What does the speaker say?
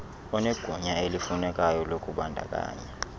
onegunya elifunekayo lokubandakanya